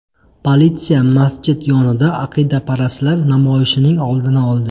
Politsiya masjid yonida aqidaparastlar namoyishining oldini oldi.